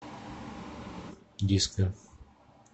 диско